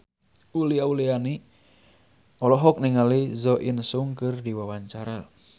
Uli Auliani olohok ningali Jo In Sung keur diwawancara